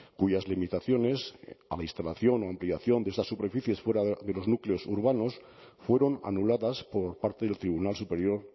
cuyas limitaciones administración ampliación de esas superficies fuera de los núcleos urbanos fueron anuladas por parte del tribunal superior